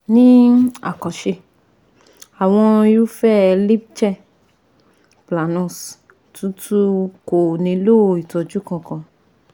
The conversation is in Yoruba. Ní àkànṣe, àwọn irúfẹ̀ẹ́ líchen planus tútù kò nílò ìtọ́jú kankan